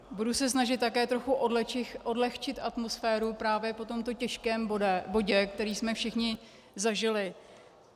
Budu se snažit také trochu odlehčit atmosféru právě po tomto těžkém bodě, který jsme všichni zažili.